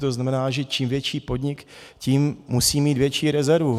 To znamená, že čím větší podnik, tím musí mít větší rezervu.